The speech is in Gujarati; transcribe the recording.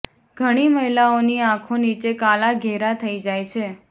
ઘણી મહિલાઓની આંખો નીચે કાલા ઘેરા થઈ જાય છે